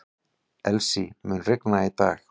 Elsie, mun rigna í dag?